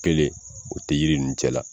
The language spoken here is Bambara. Kelen o tɛ yiri ninnu cɛla.